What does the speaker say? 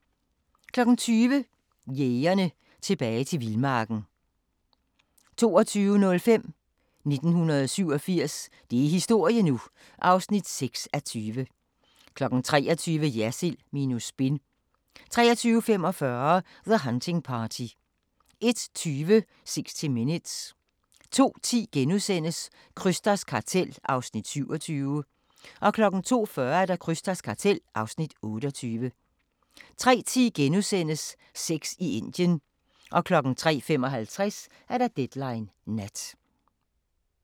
20:00: Jægerne – Tilbage til vildmarken 22:05: 1987 – det er historie nu! (6:20) 23:00: Jersild minus Spin 23:45: The Hunting Party 01:20: 60 Minutes 02:10: Krysters kartel (Afs. 27)* 02:40: Krysters kartel (Afs. 28) 03:10: Sex i Indien * 03:55: Deadline Nat